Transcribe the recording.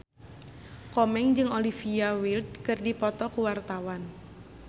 Komeng jeung Olivia Wilde keur dipoto ku wartawan